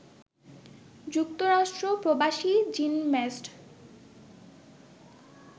যুক্তরাষ্ট্র প্রবাসী জিমন্যাস্ট